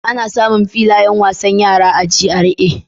Ana samun filayen wasan yara a GRA.